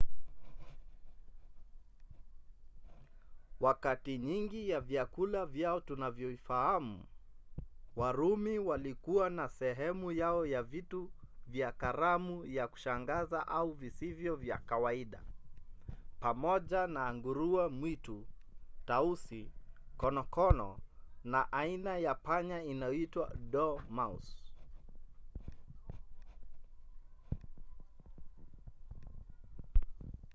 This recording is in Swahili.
wakati nyingi ya vyakula vyao tunavifahamu warumi walikuwa na sehemu yao ya vitu vya karamu vya kushangaza au visivyo vya kawaida pamoja na nguruwe mwitu tausi konokono na aina ya panya inayoitwa dormouse